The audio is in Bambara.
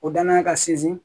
O danaya ka sinsin